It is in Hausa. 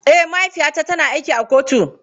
Eh, mahaifiyata tana aiki a kotu.